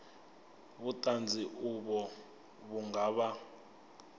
vhuṱanzi uvho vhu nga vha